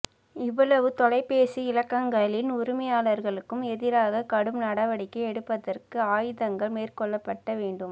இவ்வளவு தொலைபேசி இலக்கங்களின் உரிமையாளர்களுக்கும் எதிராக கடும் நடவடிக்கை எடுப்பதற்கு ஆயத்தங்கள் மேற்கொள்ளப்பட்ட வேண்டும்